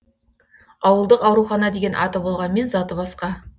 ауылдық аурухана деген аты болғанмен заты басқа